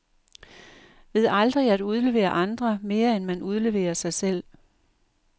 Ved aldrig at udlevere andre, mere end man udleverer sig selv.